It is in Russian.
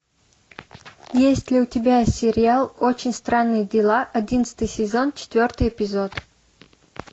есть ли у тебя сериал очень странные дела одиннадцатый сезон четвертый эпизод